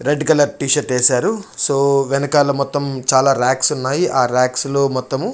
red collar T-shirt ఎసరు so వెనకాల మొత్తం చాలా రాక్స్ ఉన్నాయి ఆ రాక్స్ లో మొత్తము--